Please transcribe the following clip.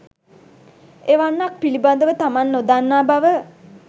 එවැන්නක් පිළිබඳව තමන් නොදන්නා බව